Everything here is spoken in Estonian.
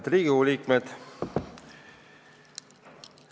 Head Riigikogu liikmed!